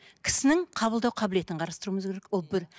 кісінің қабылдау қабілетін қарастыруымыз керек ол бір